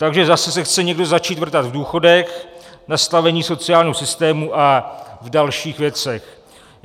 Takže zase se chce někdo začít vrtat v důchodech, v nastavení sociálního systému a v dalších věcech.